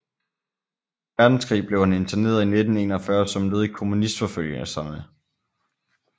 Verdenskrig blev han interneret i 1941 som led i kommunistforfølgelserne